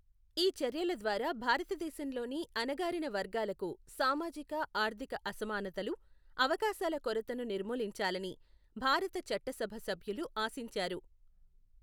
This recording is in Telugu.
ఈ చర్యల ద్వారా భారతదేశంలోని అణగారిన వర్గాలకు సామాజిక ఆర్థిక అసమానతలు, అవకాశాల కొరతను నిర్మూలించాలని భారత చట్టసభ సభ్యులు ఆశించారు.